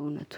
እውነቱ